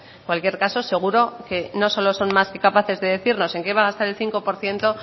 en cualquier caso seguro que no solo son más que capaces de decirnos en qué va a gastar el cinco por ciento